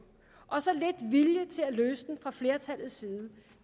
og så lidt vilje til at løse dem fra flertallets side